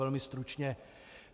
Velmi stručně.